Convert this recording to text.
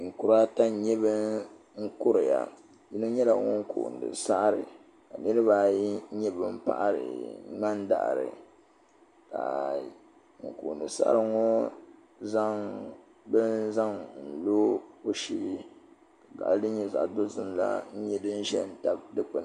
Ninkura ata n nyɛ ban kuriya, yinɔ nyɛla ŋun kooni saɣiri. ka niribi ayi nyɛ ban paɣiri mŋana daɣiri ka ŋun kooni saɣiri ŋɔ zaŋ bini zaŋ lɔ ɔ sheeni ka gaɣili din nyɛ zaɣi dozim la nyɛ din ʒɛn tabi di kpuni.